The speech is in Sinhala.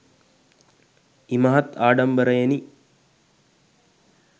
ඉමහත් ආඩම්බරයෙනි.